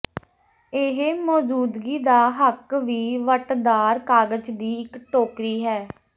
ਇਹ ਮੌਜੂਦਗੀ ਦਾ ਹੱਕ ਵੀ ਵੱਟਦਾਰ ਕਾਗਜ਼ ਦੀ ਇੱਕ ਟੋਕਰੀ ਹੈ